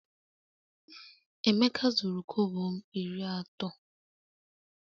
Emeka zuru kobo m iri ato